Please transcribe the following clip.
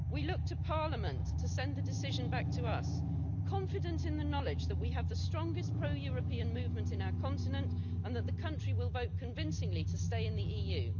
We look to parliament to send the decision back to us, confident in the knowledge that we have the strongest pro-European movement on our continent and that the country will vote convincingly to stay in the EU.